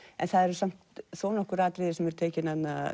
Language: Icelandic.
það eru samt þó nokkur atriði sem eru tekin